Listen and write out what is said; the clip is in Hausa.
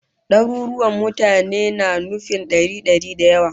Daruruwan mutane na nufin dari dari da yawa